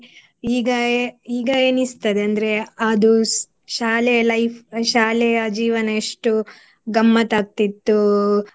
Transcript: ಈಗ ಈಗ ಎಣಿಸ್ತದೆ ಅಂದ್ರೆ ಅದು ಸ್~ ಶಾಲೆ life ಶಾಲೆಯ ಜೀವನ ಎಷ್ಟು ಗಮ್ಮತಾಕ್ತಿತ್ತು.